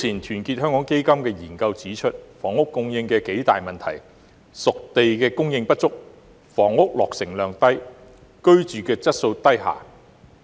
團結香港基金早前的研究，指出了房屋供應的數大問題，包括"熟地"供應不足、房屋落成量低、居住質素低下。